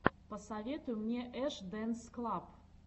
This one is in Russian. посоветуй мне эш дэнс клаб